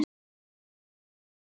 Þorgils og Ámundi Guðni.